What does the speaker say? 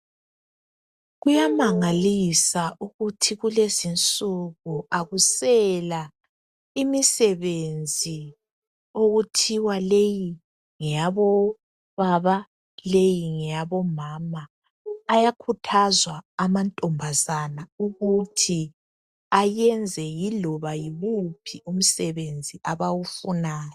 Kuyamangalisa ukuthi kulezinsuku akusela imisebenzi okuthiwa leyi ngeyabo baba leyi ngeyabo mama. Ayakhuthazwa amantombazaba ukuthi ayenze yiloba yiwuphi umsebenzi abawufunayo.